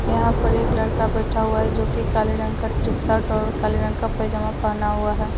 यहां पर एक लड़का बैठा हुआ हैं। जो कि काले रंग का टीशर्ट और काले रंग का पैजामा पहना हुआ हैं।